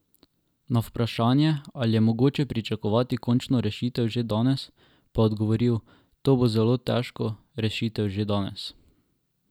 Na vprašanje, ali je mogoče pričakovati končno rešitev že danes, pa je odgovoril: 'To bo zelo težko, rešitev že danes.